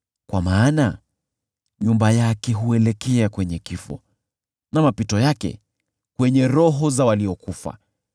Kwa maana nyumba yake huelekea kwenye kifo na mapito yake kwenye roho za waliokufa.